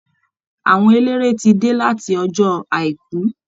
Àwọn eléré ti dé láti ọjọ́ àìkú